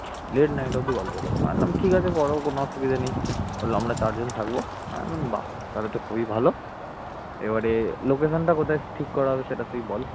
late night অব্দি দিয়ে গল্প করবো আমি বললাম ঠিক আছে করো কোন অসুবিধা নেই, বলল আমরা চারজনে থাকবো, আমি বললাম বা! তাহলে তো খুবই ভালো এবারে location টা কোথায় ঠিক করা হবে তুই বল